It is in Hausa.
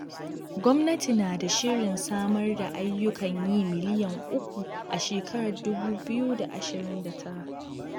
Gwamnati na da shirin samar da ayyukan yi miliyan uku a shekarar dubu biyu da ashirin da tara